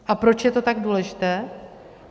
A proč je to tak důležité?